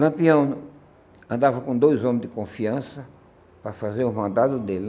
Lampião andava com dois homens de confiança para fazer os mandados dele né.